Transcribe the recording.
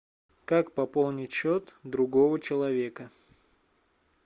как пополнить счет другого человека